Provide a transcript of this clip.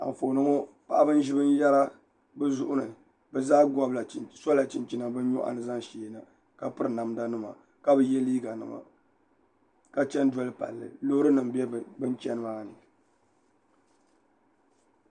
Anfooni ŋɔ paɣaba n ʒi binyɛra bi zuɣu ni bi zaa sola chinchina bi nyoɣani zaŋ sheena ka piri namda nima ka bi yɛ liiga nima ka chɛni doli palli loori nim bɛ bi ni chɛni maa ni